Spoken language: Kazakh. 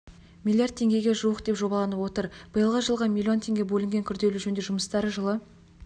миллиард теңгеге жуық деп жобаланып отыр биылғы жылға миллион теңге бөлінген күрделі жөндеу жұмыстары жылы